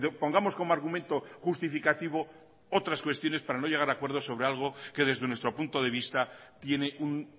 pongamos como argumento justificativo otras cuestiones para no llegar a acuerdos sobre algo que desde nuestro punto de vista tiene un